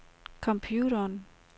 computeren